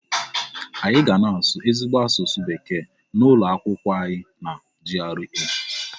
Anyị ga na-asụ ezigbo asụsụ bekee n'ụlọ akwụkwọ anyị na GRA.